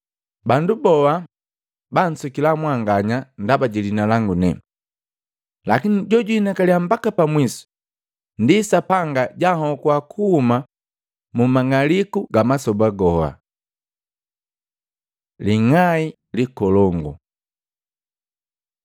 Bandu boa babansukila mwanganya ndaba ji liina langu ne. Lakini jojwihinakalya mbaka pa mwisu ndi Sapanga janhokuwa kuhuma mwamang'aliku gamasoba goha.” Ling'ai likolongu Matei 24:15-28; Luka 21:20-24